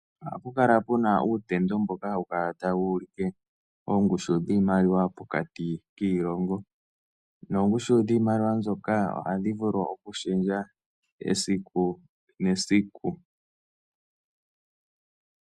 Ohapu kala pena utendo mboka tawu kala tawu ulike oongushu diimaliwa pokati kiilongo noongushu dhiimaliwa mbyoka ohadhi vulu okulunduluka esiku nesiku.